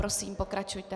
Prosím, pokračujte.